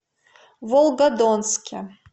волгодонске